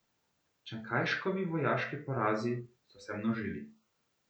Čankajškovi vojaški porazi so se množili.